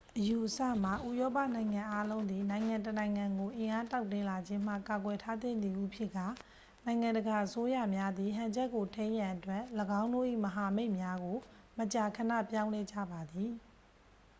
အယူအဆမှာ ဥရောပနိုင်ငံအားလုံးသည် နိုင်ငံတစ်နိုင်ငံကို အင်အားတောင့်တင်းလာခြင်းမှ ကာကွယ်ထားသင့်သည်ဟု ဖြစ်ကာ နိုင်ငံတကာအစိုးရများသည် ဟန်ချက်ကိုထိန်းရန်အတွက် ၎င်းတို့၏မဟာမိတ်များကို မကြာခဏပြောင်းလဲကြပါသည်